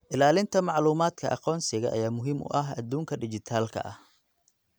Ilaalinta macluumaadka aqoonsiga ayaa muhiim u ah adduunka dhijitaalka ah.